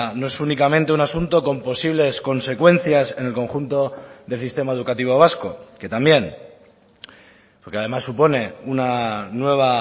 no es únicamente un asunto con posibles consecuencias en el conjunto del sistema educativo vasco que también porque además supone una nueva